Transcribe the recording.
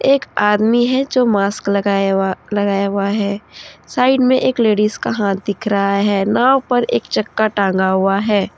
एक आदमी है जो मास्क लगाया हुआ लगाया हुआ है साइड में एक लेडीज का हाथ दिख रहा है नाव पर एक चक्का टांगा हुआ है।